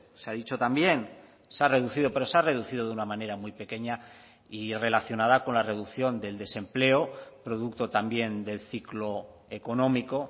se ha dicho también se ha reducido pero se ha reducido de una manera muy pequeña y relacionada con la reducción del desempleo producto también del ciclo económico